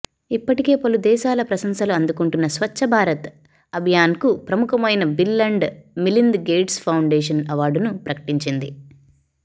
ఇప్పటికే పలు దేశాల ప్రశంశలు అందుకుంటున్న స్వచ్చభారత్ అభియాన్కు ప్రముఖమైన bill and Milind gates foundation అవార్డును ప్రకటించింది